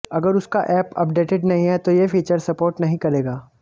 अगर उसका app updated नहीं है तो ये फीचर सपोर्ट नहीं करेगा